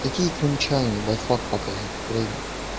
какие крымчане ебать фак показывают украине